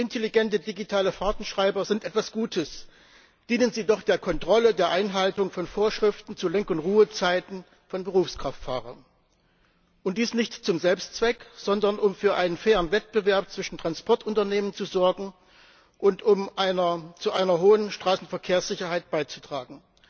Intelligente digitale Fahrtenschreiber sind etwas Gutes, dienen sie doch der Kontrolle der Einhaltung von Vorschriften zu Lenk und Ruhezeiten von Berufskraftfahrern, und dies nicht zum Selbstzweck, sondern um für einen fairen Wettbewerb zwischen Transportunternehmen zu sorgen und um zu einer hohen Straßenverkehrssicherheit beizutragen.